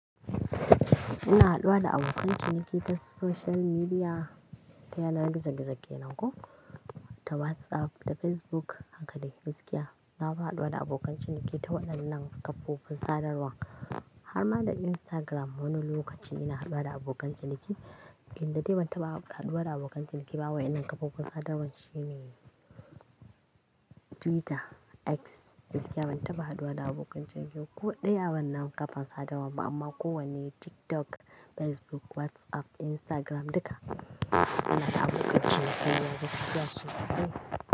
Ina haduwa da abokan ciniki ta social media, ta yanar gizo-gizo kenan ko ta WhatsApp, ta Facebook, haka dai gaskiya. Na fi haduwa da abokan ciniki ta waɗannan kafofin sadarwa. Har ma da Instagram wani lokaci ina haduwa da abokan ciniki. Inda dai ban taɓa haduwa da abokan ciniki ba wai ina kafofin sadarwa shine Twitter, X. Gaskiya ban taɓa haduwa da abokan ciniki ko ɗaya wannan kafan sadarwa ba amma kowanne TikTok, Facebook, WhatsApp, Instagram duka ina da abokan ciniki na gaskiya sosai.